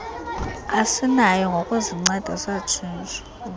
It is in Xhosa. esinayo ngokuzinceda satshintsha